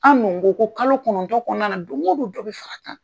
An' dun ko ko kalo kɔnɔntɔ kɔnɔna na doŋo don dɔ be fak'a kan.